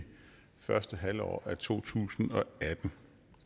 første halvår af to tusind og atten